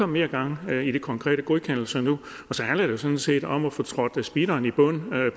mere gang i de konkrete godkendelser nu og så handler det jo sådan set om at få trådt speederen i bund